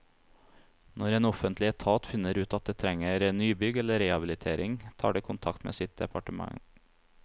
Når en offentlig etat finner ut at det trenger nybygg eller rehabilitering, tar det kontakt med sitt departement.